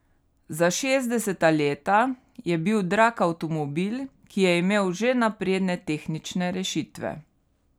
Za šestdeseta leta je bil drag avtomobil, ki je imel že napredne tehnične rešitve.